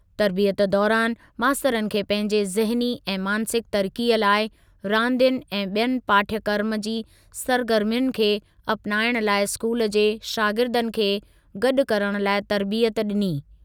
तर्बियत दौरानि मास्तरनि खे पंहिंजे ज़हनी ऐं मानसिकु तरक़ीअ लाइ रांदियुनि ऐं ॿियनि पाठ्यक्रम जी सरगर्मियुनि खे अपनाइण लाइ स्कूल जे शागिर्दनि खे गॾु करणु लाइ तर्बियत ॾिनी।